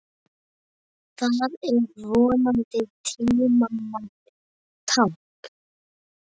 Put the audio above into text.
Það er vonandi tímanna tákn.